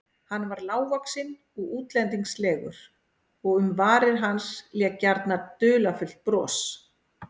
Hann var lágvaxinn og útlendingslegur og um varir hans lék gjarnan dularfullt bros.